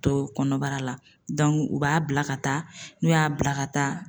Don kɔnɔbara la u b'a bila ka taa n'u y'a bila ka taa